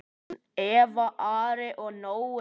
Börn: Eva, Ari og Nói.